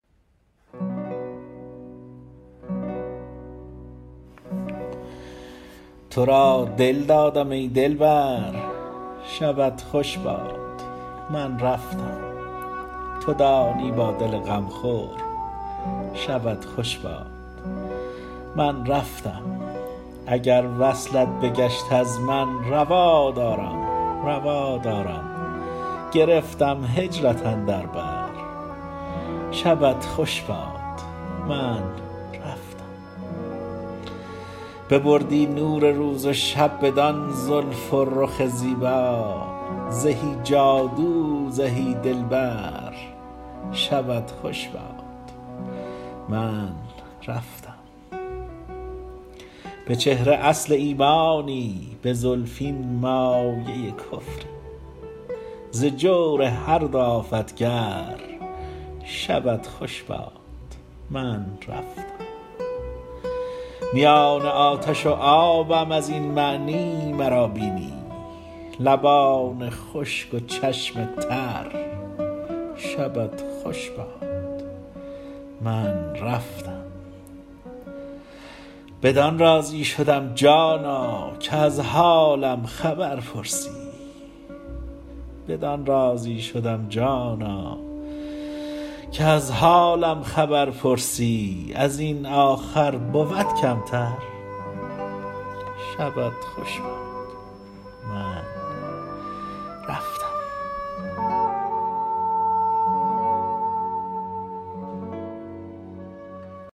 تو را دل دادم ای دلبر شبت خوش باد من رفتم تو دانی با دل غم خور شبت خوش باد من رفتم اگر وصلت بگشت از من روا دارم روا دارم گرفتم هجرت اندر بر شبت خوش باد من رفتم ببردی نور روز و شب بدان زلف و رخ زیبا زهی جادو زهی دلبر شبت خوش باد من رفتم به چهره اصل ایمانی به زلفین مایه کفری ز جور هر دو آفت گر شبت خوش باد من رفتم میان آتش و آبم ازین معنی مرا بینی لبان خشک و چشم تر شبت خوش باد من رفتم بدان راضی شدم جانا که از حالم خبر پرسی ازین آخر بود کمتر شبت خوش باد من رفتم